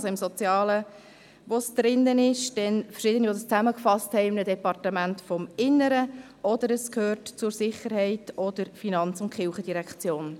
Es ist im Sozialen enthalten, dann haben es Verschiedene in einem Departement des Innern zusammengefasst oder es gehört zur Sicherheit oder zur Finanz- und Kirchendirektion.